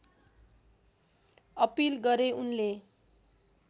appeal गरे उनले